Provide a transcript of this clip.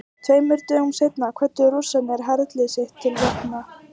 Tveimur dögum seinna kvöddu Rússar herlið sitt til vopna.